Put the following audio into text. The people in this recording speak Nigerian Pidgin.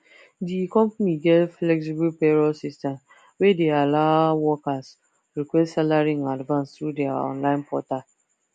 d company get flexible payroll system wey de allow workers request salary in advance through their online portal